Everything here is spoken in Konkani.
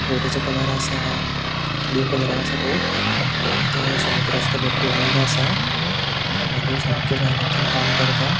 बोटीचो कलर असा ब्लू कलर असा बोट आणि ते समुद्र असा बरपूर वडलों असा सामके मेहनीतीन काम करता.